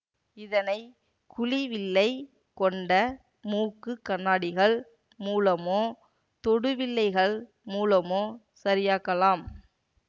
இதனை குழி வில்லை கொண்ட மூக்கு கண்ணாடிகள் மூலமோ தொடுவில்லைகள் மூலமோ சரியாக்கலாம்